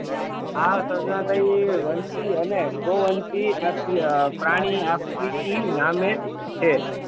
આ સર્ણાટયી વંશી અને બહુવંશી અ પ્રાણી આફ્રીકી નામે છે